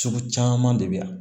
Sugu caman de bɛ yan